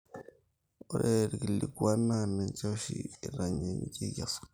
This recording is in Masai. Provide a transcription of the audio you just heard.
ore ilkikuan naa ninche oshi eitainyieki esukari